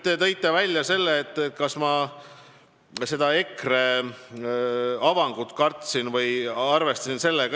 Te tõite välja selle, kas ma seda EKRE avangut kartsin või sellega arvestasin.